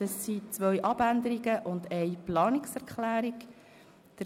Es liegen zwei Abänderungsanträge und eine Planungserklärung vor.